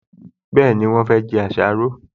Bẹ́ẹ̀ni, wọ́n fẹ́ jẹ àsáró